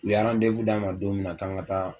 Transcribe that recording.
U y'arandewu d'an ma don minna k'an ka taa